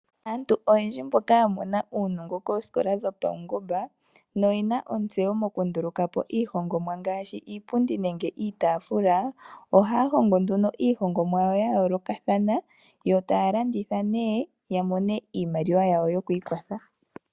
Aantu oyendji mboka ya mona uunongo kooskola dho paungomba na oyena ontsewo oku ndulukapo iihongomwa ngashi iipundi niitafula. Ohaya hongo nduno iihongomwa yawo ya yooloka, yota ya keyi landitha opo ya mone iimaliwa yawo yokwiikwatha.